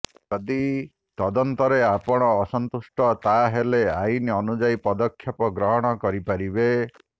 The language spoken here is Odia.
ଯଦି ତଦନ୍ତରେ ଆପଣ ଅସନ୍ତୁଷ୍ଟତାହାଲେ ଆଇନ ଅନୁଯାୟୀ ପଦକ୍ଷେପ ଗ୍ରହଣ କରିପାରିବେ